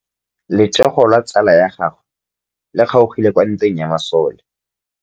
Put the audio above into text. Letsôgô la tsala ya gagwe le kgaogile kwa ntweng ya masole.